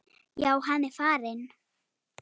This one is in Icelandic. Já, hann er farinn